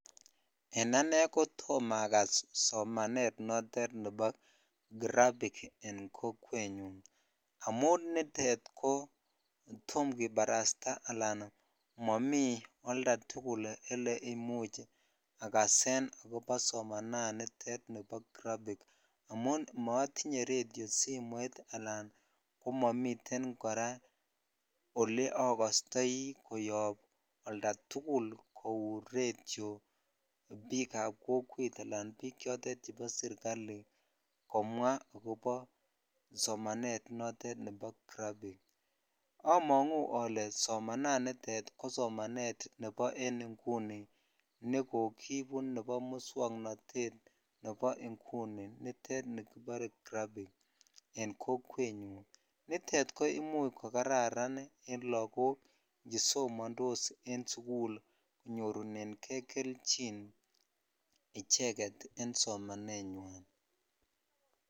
En anee kotom akas somanet noton nebo graphic en kokwenyun amun bitet kotom kibarasta alaan momii oldatukul elee imuch akasen akobo somananitet nibo graphic amun motinye redio, simoit alaan komomiten kora oleokostoi koyob oldatukul kou redio biikab kokwet alaan biik chotet chebo serikali komwa akobo somanet notet nebo graphic, amongu olee somananitet ko somanet nebo en inguni nekokibu nebo muswoknotet nebo inguni nitet nikibore graphic en kokwenyun, nitet ko imuch ko kararan en lokok chesomondos en sukul konyorunenge kelchin icheket en somanenywan.